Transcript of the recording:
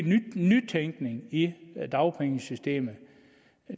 nytænkning i i dagpengesystemet